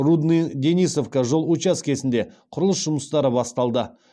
рудный денисовка жол учаскесінде құрылыс жұмыстары басталды